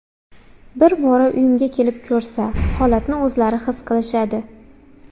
Bir bora uyimni kelib ko‘rsa, holatni o‘zlari his qilishadi.